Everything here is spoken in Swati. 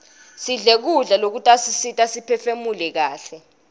sidle kudla lokutasisita siphefunule kaihle